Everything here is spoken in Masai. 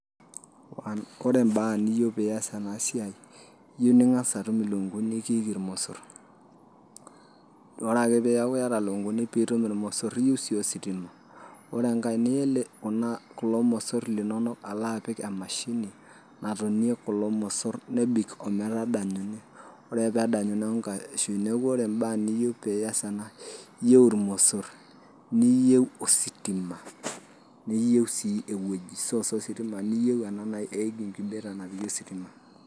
Ore mbaa niyeu pee ias ena siai, iyeu ning'as atum ilukunkuni nekiiki ilmosor, ore ake peaku iata ilukunkuni nekiiki ilmosor, iyeu sii ositima, ore enkai, iyeu sii ositima, ore enkai, niya kulo mosor linono apik emashini natonie kulo mosor, nebik ometadanyunye ore ake pedanyunye neaku kashui, neaku ore imbaa niyeu pias ena, iyeu ilmosor, iyeu ositima, niyeu source ositima, niyeu incubator napiki ositima.